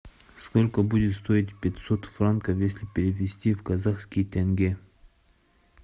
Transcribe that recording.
сколько будет стоить пятьсот франков если перевести в казахские тенге